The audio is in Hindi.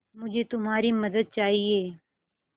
मुझे तुम्हारी मदद चाहिये